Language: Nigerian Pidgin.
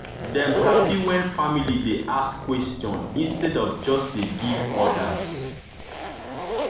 dem happy when family dey ask question instead of just dey give orders.